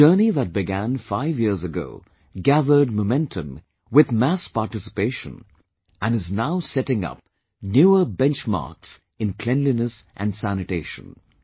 A journey that began five years ago gathered momentum with mass participation & is now setting up newer benchmarks in cleanliness & sanitation